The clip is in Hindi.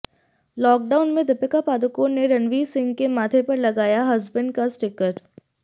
लॉकडाउन में दीपिका पादुकोण ने रणवीर सिंह के माथे पर लगाया हस्बैंड का स्टिकर